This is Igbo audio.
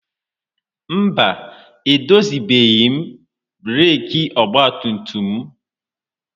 Mba, edozibeghị m breeki ọgbatumtum m.